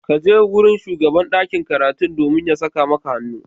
Kaje wurin shugaban ɗakin karatun domin ya saka maka hannu.